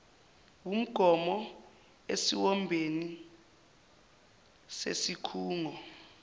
wumgomo esiwombeni sesikhungo